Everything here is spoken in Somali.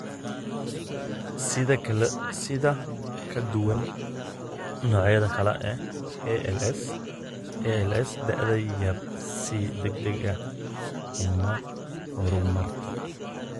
Si ka duwan noocyada kale ee ALS, ALS da'da yar si degdeg ah uma horumarto.